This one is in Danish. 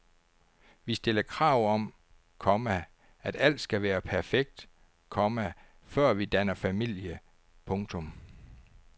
Vi stiller krav om, komma at alt skal være perfekt, komma før vi danner familie. punktum